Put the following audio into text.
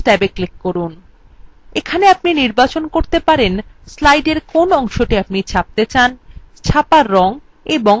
এখানে আপনি নির্বাচন করতে পরতে পারেন slideএর কোন অংশটি আপনি ছাপতে চান ছাপার রং এবং slide